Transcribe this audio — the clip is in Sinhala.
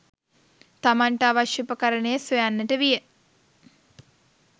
තමන්ට අවශ්‍ය උපකරණය සොයන්නට විය